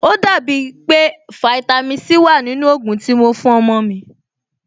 Ò dàbí pé fáítámì Sí wà nínú ògùn tí mo fún ọmọ-ọ̀n mi